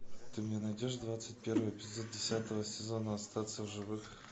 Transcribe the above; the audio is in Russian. ты мне найдешь двадцать первый эпизод десятого сезона остаться в живых